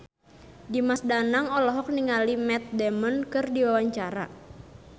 Dimas Danang olohok ningali Matt Damon keur diwawancara